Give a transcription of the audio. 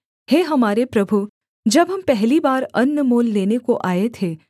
हे हमारे प्रभु जब हम पहली बार अन्न मोल लेने को आए थे